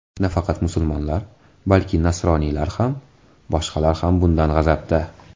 Nafaqat musulmonlar, balki nasroniylar ham, boshqalar ham bundan g‘azabda.